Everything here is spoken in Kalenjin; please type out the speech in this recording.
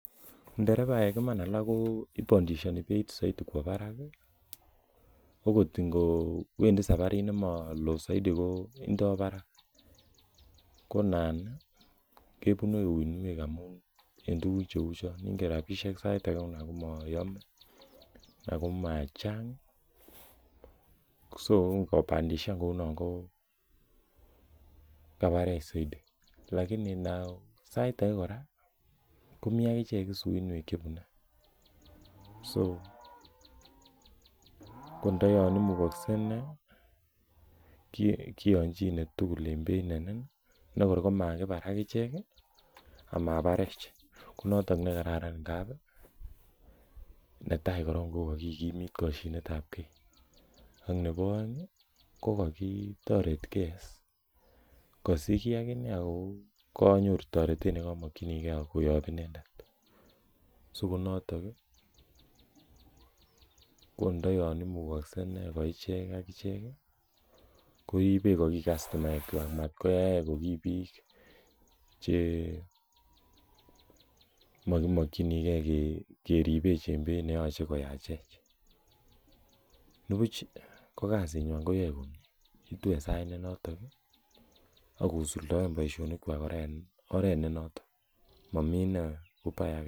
Nderebaek iman alak ko bandishani beit kwo barak agot ingo Wendi saparit nemalo zaidi kwo barak. Ko inan kebune huinuek ngamun sait age Ako macheng so ingobandishan ko kabarech lakini sait age kora komi agichek huinuek chebune ko nda Yoon imukakse inei kiachine tugul nekor amabarech konato nekararan netai koron kokakikimit ak nebo aeng kanyoru taretet koyap inendet ko nda mugakse koibech ko ki kastomaek kwak matkoyaech ko ko kibik che makimakyinige keribech en beit nemaekoyachech nibuch ko kasinywan koyae komie en oret ne noton Mami ubaya aketugul